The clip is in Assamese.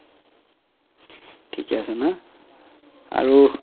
থিকে আছে না আৰু